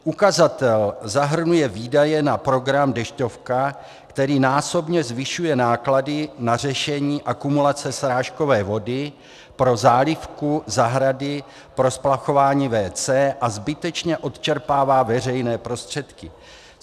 Ukazatel zahrnuje výdaje na program Dešťovka, který násobně zvyšuje náklady na řešení akumulace srážkové vody pro zálivku zahrady, pro splachování WC a zbytečně odčerpává veřejné prostředky.